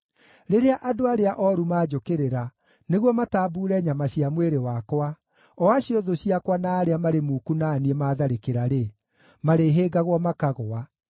Rĩrĩa andũ arĩa ooru manjũkĩrĩra nĩguo matambuure nyama cia mwĩrĩ wakwa, o acio thũ ciakwa na arĩa marĩ muku na niĩ maatharĩkĩra-rĩ, marĩhĩngagwo makagũa.